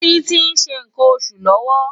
Titi n ṣé nkán óṣú lòwò